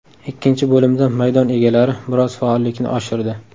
Ikkinchi bo‘limda maydon egalari biroz faollikni oshirdi.